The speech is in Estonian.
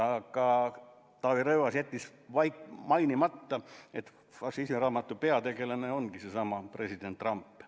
Aga Taavi Rõivas jättis mainimata, et fašismiraamatu peategelane ongi seesama president Trump.